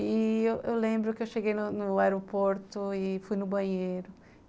E eu lembro que eu cheguei no aeroporto e fui no banheiro.